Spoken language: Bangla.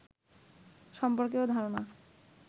সর্ম্পকেও ধারণা